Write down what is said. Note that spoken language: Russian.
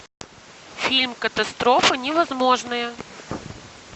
фильм катастрофа невозможное